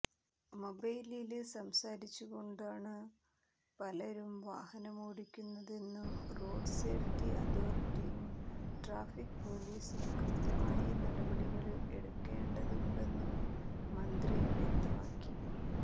മൊബൈലില് സംസാരിച്ചുകൊണ്ടാണ് പലരും വാഹനമോടിക്കുന്നതെന്നും റോഡ് സേഫ്റ്റി അതോരിറ്റിയും ട്രാഫിക് പൊലീസും കൃത്യമായി നടപടികള് എടുക്കണ്ടതുണ്ടെന്നും മന്ത്രി വ്യക്തമാക്കി